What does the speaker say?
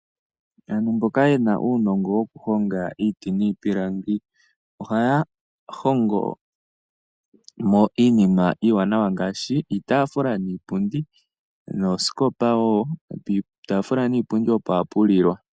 Aantu mboka ye na uunongo wokuhonga iiti niipilangi ohaya hongo mo iinima iiwanawa ngaashi iitaaafula niipundi nosho wo oosikopa. Piitaafula niipundi opo ha pu lilwa.